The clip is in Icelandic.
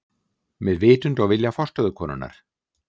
Með vitund og vilja forstöðukonunnar.